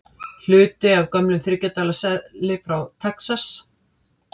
Hluti af gömlum þriggja dala seðli frá Texas.